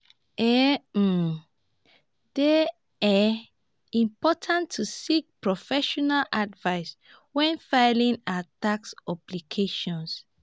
e um dey um important to seek professional advice when filing our tax obligations.